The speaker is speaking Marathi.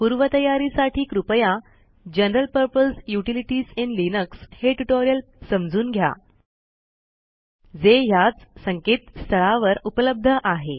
पूर्वतयारीसाठी कृपया general purpose utilities in Linux हे ट्युटोरियल समजून घ्याजे ह्याच संकेतस्थळावर उपलब्ध आहे